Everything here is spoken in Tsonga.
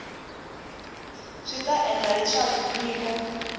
swi ta endla leswaku nyiko